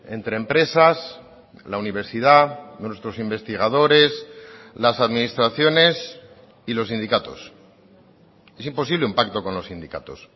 entre empresas la universidad nuestros investigadores las administraciones y los sindicatos es imposible un pacto con los sindicatos